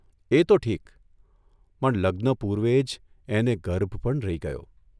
એ તો ઠીક, પણ લગ્ન પૂર્વે જ એને ગર્ભ પણ રહી ગયો !